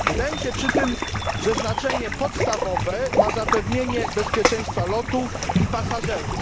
Wydaje mi się przy tym, że znaczenie podstawowe ma zapewnienie bezpieczeństwa lotów i pasażerów.